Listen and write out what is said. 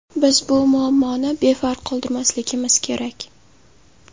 Biz bu muammoni befarq qoldirmasligimiz kerak.